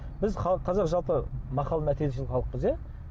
біз қазақ жалпы мақал мәтелшіл халықпыз иә